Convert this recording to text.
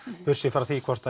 frá því hvort